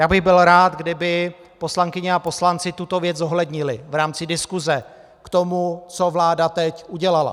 Já bych byl rád, kdyby poslankyně a poslanci tuto věc zohlednili v rámci diskuse k tomu, co vláda teď udělala.